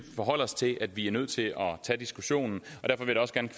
forholde os til at vi er nødt til at tage diskussionen